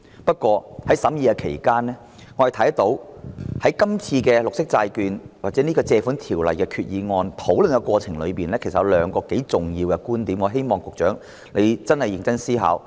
不過，在審議期間，我們看到在討論這項有關綠色債券或根據《借款條例》動議的決議案的過程中，其實有兩個頗為重要的觀點，我希望局長會認真思考。